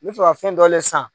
N mi fɛ ka fɛn dɔlen san